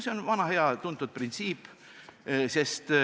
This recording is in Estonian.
See on vana hea tuntud printsiip.